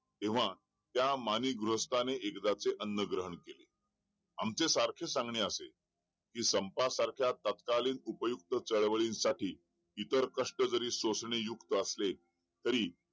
तेव्हा त्या माणिक गृहस्थाने एकदाचे अन्न ग्रहण केले आमचे सारखे सांगणे असे कि संपा सारख्या तत्कालिन उपयुक्त चळवळीनं साठी इतर कष्ट जरी सोसणे युक्त असेल तरी